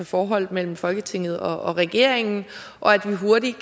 forholdet mellem folketinget og regeringen og at vi hurtigt